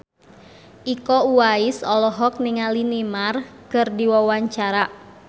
Iko Uwais olohok ningali Neymar keur diwawancara